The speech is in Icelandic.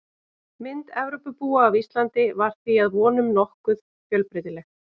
Mynd Evrópubúa af Íslandi var því að vonum nokkuð fjölbreytileg.